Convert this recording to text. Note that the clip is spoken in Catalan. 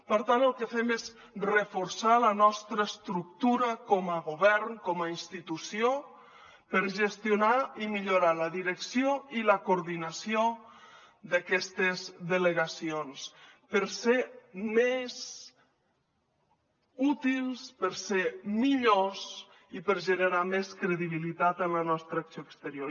per tant el que fem és reforçar la nostra estructura com a govern com a institució per gestionar i millorar la direcció i la coordinació d’aquestes delegacions per ser més útils per ser millors i per generar més credibilitat en la nostra acció exterior